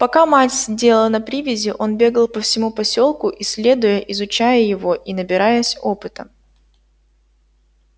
пока мать сидела на привязи он бегал по всему посёлку исследуя изучая его и набираясь опыта